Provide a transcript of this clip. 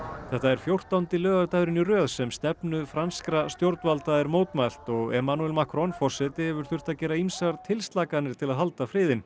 þetta er fjórtánda laugardaginn í röð sem stefnu franskra stjórnvalda er mótmælt og Emmanuel Macron forseti hefur þurft að gera ýmsar tilslakanir til að halda friðinn